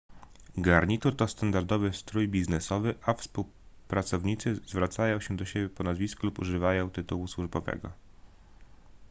garnitur to standardowy strój biznesowy a współpracownicy zwracają się do siebie po nazwisku lub używają tytułu służbowego